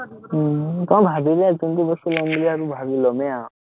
উম আহ ভাৱিলে জুনটো বস্তু লম বুলি আৰু ভাৱিলে লমেই আৰু।